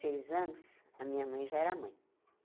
anos, a minha mãe já era mãe.